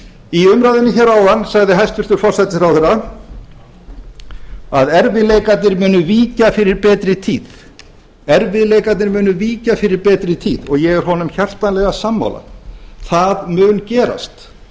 í umræðunni hér áðan sagði hæstvirtur forsætisráðherra að erfiðleikarnir muni víkja fyrir betri tíð og ég er honum hjartanlega sammála það mun gerast